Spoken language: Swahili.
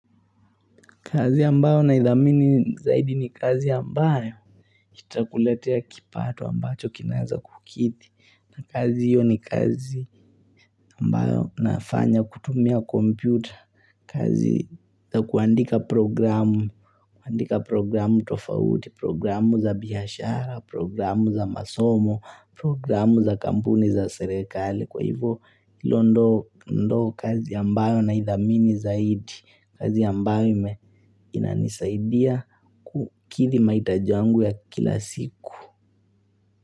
Kazi ambayo naidhamini zaidi ni kazi ambayo itakuletea kipato ambacho kinaweza kukidhi. Kazi hio ni kazi ambayo nafanya kutumia kompyuta. Kazi za kuandika programu. Kuandika programu tofauti. Programu za biashara. Programu za masomo. Programu za kampuni za serikali Kwa hivyo hilo ndo kazi ambayo naidhamini zaidi. Kazi ambayo inanisaidia kikidhi mahitaji yangu ya kila siku.